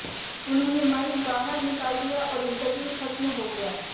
उन्होंने माइक बाहर निकाल दिया और इंटरव्यू खत्म हो गया